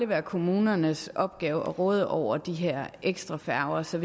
være kommunernes opgave at råde over de her ekstra færger så